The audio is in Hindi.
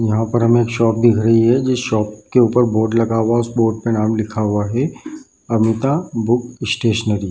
यहाँ पर हमे एक शॉप दिख रही है जिस शॉप के ऊपर बोर्ड लगा हुआ है | उस बोर्ड पे नाम लिखा हुआ है अमिता बुक स्टेशनरी |